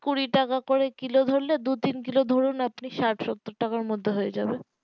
কুড়ি টাকা করে কিলো ধরলে তিন কিলো ধরুন আপনি ষাট সত্তর টাকার মধ্যে হয়ে যাবে